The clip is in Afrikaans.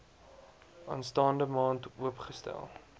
aanstaande maand oopgestel